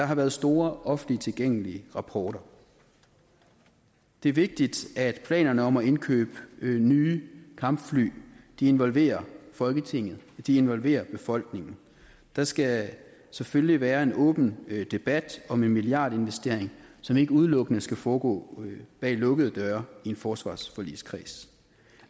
har været store offentligt tilgængelige rapporter det er vigtigt at planerne om at indkøbe nye kampfly involverer folketinget involverer befolkningen der skal selvfølgelig være en åben debat om en milliardinvestering som ikke udelukkende skal foregå bag lukkede døre i forsvarsforligskredsen